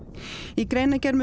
í greinargerð með